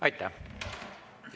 Aitäh!